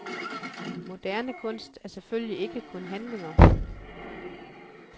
Moderne kunst er selvfølgelig ikke kun handlinger.